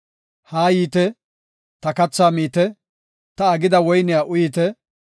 “Haa yiite; ta kathaa miite; ta aggida woyniya uyite.